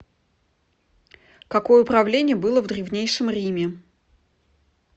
какое управление было в древнейшем риме